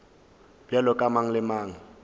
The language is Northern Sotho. bjalo ka mang le mang